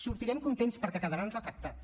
sortirem contents perquè quedaran retratats